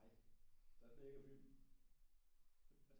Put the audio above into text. Nej så knækker filmen